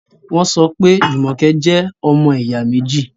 wọ́n sọpẹ́ Jumoke jẹ́ “ ọmọ ẹ̀yà méjì ”.